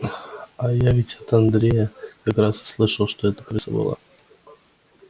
а я ведь от андрея как раз и слышал что это крыса была